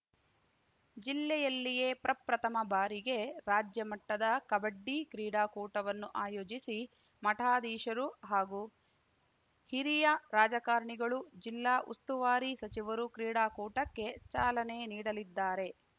ಜಿಲ್ಲೆಯಲ್ಲಿಯೇ ಪ್ರಪ್ರಥಮ ಬಾರಿಗೆ ರಾಜ್ಯ ಮಟ್ಟದ ಕಬಡ್ಡಿ ಕ್ರೀಡಾಕೂಟವನ್ನು ಆಯೋಜಿಸಿ ಮಠಾಧೀಶರು ಹಾಗೂ ಹಿರಿಯ ರಾಜಕಾರಣಿಗಳು ಜಿಲ್ಲಾ ಉಸ್ತುವಾರಿ ಸಚಿವರು ಕ್ರೀಡಾಕೂಟಕ್ಕೆ ಚಾಲನೆ ನೀಡಲಿದ್ದಾರೆ